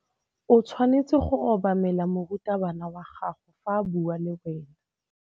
O tshwanetse go obamela morutabana wa gago fa a bua le wena.